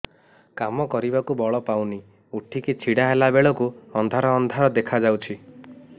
କାମ କରିବାକୁ ବଳ ପାଉନି ଉଠିକି ଛିଡା ହେଲା ବେଳକୁ ଅନ୍ଧାର ଅନ୍ଧାର ଦେଖା ଯାଉଛି